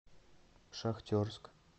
шахтерск